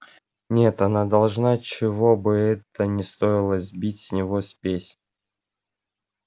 нет она должна чего бы это ни стоило сбить с него спесь